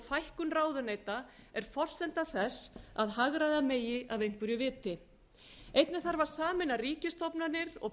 fækkun ráðuneyta er forsenda þess að hagræða megi af einhverju viti einnig þarf að sameina ríkisstofnanir og